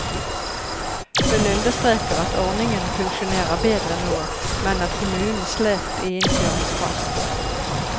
Hun understreker at ordningen funksjonerer bedre nå, men at kommunen slet i innkjøringsfasen.